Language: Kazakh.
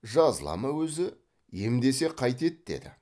жазыла ма өзі емдесе қайтеді деді